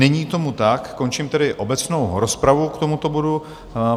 Není tomu tak, končím tedy obecnou rozpravu k tomuto bodu.